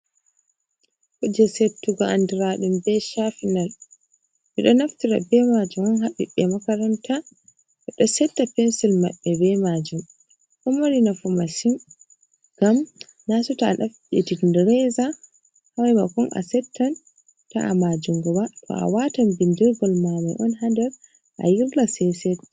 Kuje settugo andiraa ɗum ɓe chafinal, ɓe ɗo naftira ɓe maajum on ha ɓiɓɓe makaranta, ɓe ɗo setta pensil maɓɓe ɓe majum, ɗo mari nafu masin. Ngam naseto a ɗaɓɓiti reza ha maimakon a settan ta'a ma jungoba, to a watan bindirgol ma mai on ha nder a yirla sai set.